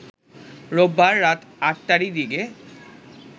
রোববার রাত ৮টারি দিকে